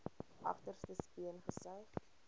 agterste speen gesuig